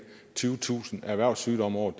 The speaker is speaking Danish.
tyvetusind erhvervssygdomme om året